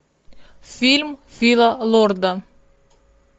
фильм фила лорда